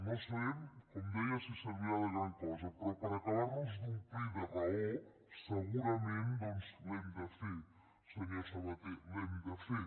no sabem com deia si servirà de gran cosa però per acabar nos d’omplir de raó segurament doncs l’hem de fer senyor sabaté l’hem de fer